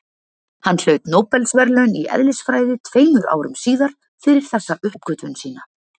Hann hlaut Nóbelsverðlaun í eðlisfræði tveimur árum síðar fyrir þessa uppgötvun sína.